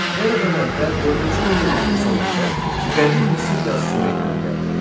Eradan əvvəl dördüncü minilliyin sonunda Qədim Misir yazısı meydana gəldi.